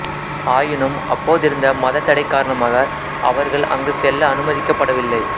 ஆயினும் அப்போதிருந்த மதத் தடை காரணமாக அவர்கள் அங்கு செல்ல அனுமதிக்கப் படவில்லை